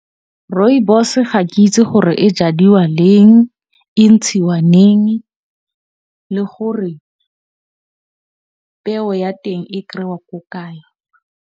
Rooibos ga ke itse gore e jadiwa leng, e ntshiwa neng, le gore peo ya teng e kry-ewa ko kae.